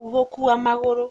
gũkua magũrũ.